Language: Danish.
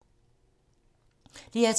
DR2